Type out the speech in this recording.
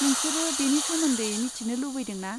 नोंसोरो बेनि सोमोन्दै मिथिनो लुगैदों ना?